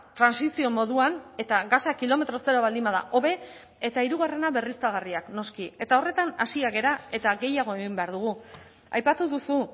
trantsizio moduan eta gasa kilometro zero baldin bada hobe eta hirugarrena berriztagarriak noski eta horretan hasiak gara eta gehiago egin behar dugu aipatu duzu